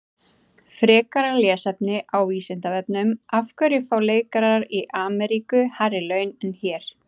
Frekara lesefni á Vísindavefnum: Af hverju fá leikarar í Ameríku hærri laun en hér?